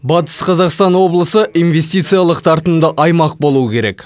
батыс қазақстан облысы инвестициялық тартымды аймақ болуы керек